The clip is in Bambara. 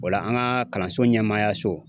O la an ka kalanso ɲɛmaayaso